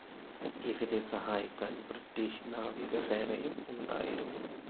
ഇവരെ സഹായിക്കാൻ ബ്രിട്ടീഷ് നാവികസേനയും ഉണ്ടായിരുന്നു.